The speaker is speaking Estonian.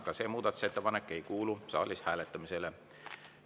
Ka see muudatusettepanek ei kuulu saalis hääletamisele.